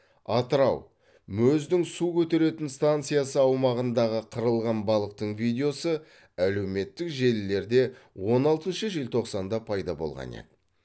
атырау мөз дің су көтеретін станциясы аумағындағы қырылған балықтың видеосы әлеуметтік желілерде он алтыншы желтоқсанда пайда болған еді